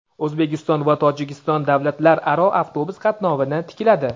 O‘zbekiston va Tojikiston davlatlararo avtobus qatnovini tikladi.